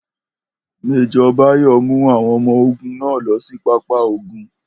Major Bayo mu awon omo ogun na lo si papa ogun.